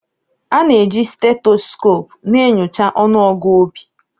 A na-eji stethoscope na-enyocha ọnụọgụ obi